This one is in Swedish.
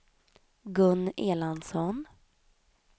Gun Erlandsson